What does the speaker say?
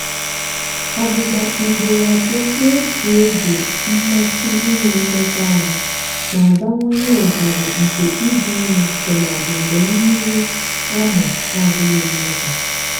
ọgbụgba ugboro abụọ n'otu oge mmasị inwe mmekọahụ na-abawanye ohere nke ịdị ime tụmadị mgbe mmiri amụ adịghị nnukwu.